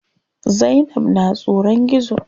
Zainab na tsoron gizo.